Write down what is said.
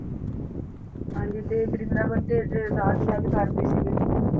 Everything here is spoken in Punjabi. ਹਾਂਜੀ ਤੇ ਵ੍ਰਿੰਦਾਵਨ ਤੇ ਰਾਸਲੀਲਾ ਵੀ ਕਰਦੇ ਸੀਗੇ।